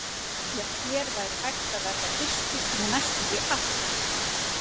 Já, hér væri hægt að verða fyrstur með næstum því allt.